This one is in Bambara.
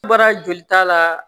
Baara jolita la